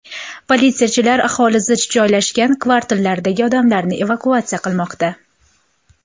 Politsiyachilar aholi zich joylashgan kvartallardagi odamlarni evakuatsiya qilinmoqda.